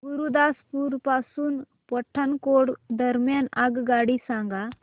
गुरुदासपुर पासून पठाणकोट दरम्यान आगगाडी सांगा